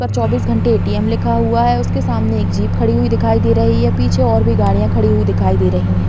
चौबीस घंटे एटीएम लिखा हुआ है। उसके सामने एक जीप खड़ी हुई दिखाई दे रही है पीछे और भी गाड़ियाँ खड़ी हुई दिखाई दे रही हैं।